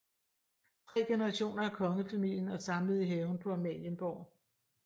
Tre generationer af Kongefamilien er samlet i haven på Amalienborg